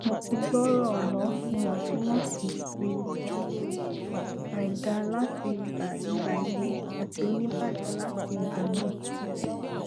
mo ti gbooro ọlọ iwọntunwọnsi si àìdá lati igba igba ewe ati onibaje lati igba naa